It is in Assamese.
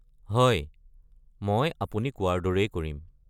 হয়, মই আপুনি কোৱাৰ দৰেই কৰিম।